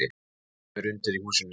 Það glymur undir í húsinu.